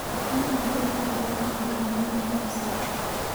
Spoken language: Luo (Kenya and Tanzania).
apayano ne oruombore bang'e koth maduong' ne osechue